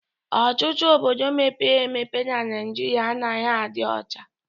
Ọtụtụ obodo mepere emepe n'Naijiria anaghị adị ọcha